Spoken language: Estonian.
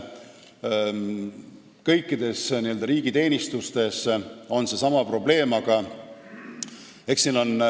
Kõikides n-ö riigiteenistustes on seesama probleem.